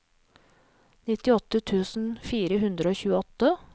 nittiåtte tusen fire hundre og tjueåtte